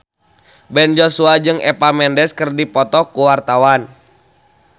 Ben Joshua jeung Eva Mendes keur dipoto ku wartawan